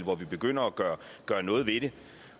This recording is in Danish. hvor vi begynder at gøre gøre noget ved det